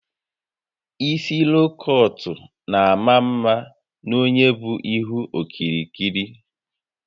Isi loo kọọt n'ama mma n'onye bu ihu okirikiri